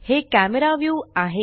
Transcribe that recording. हे camera view आहे